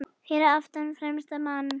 Fyrir aftan fremsta mann?